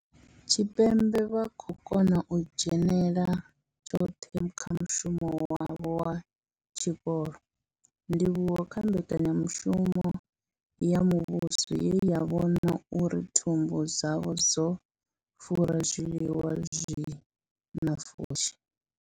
Tshipembe vha khou kona u dzhenela tshoṱhe kha mushumo wavho wa tshikolo, ndivhuwo kha mbekanyamushumo ya muvhuso ye ya vhona uri thumbu dzavho dzo fura nga zwiḽiwa zwi na pfushi.